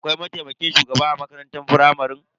Akwai mataimakin shugaba a makarantar firamare.